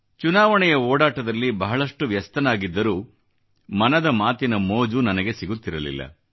ಚುನಾವಣೆಯ ಓಡಾಟದಲ್ಲಿ ಬಹಳಷ್ಟು ವ್ಯಸ್ತನಾಗಿದ್ದರೂ ಮನದ ಮಾತಿನ ಮೋಜು ನನಗೆ ಸಿಗುತ್ತಿರಲಿಲ್ಲ